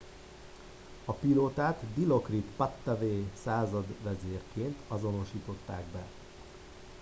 a pilótát dilokrit pattavee századvezérként azonosították be